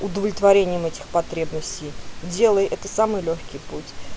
удовлетворением этих потребностей делай это самый лёгкий путь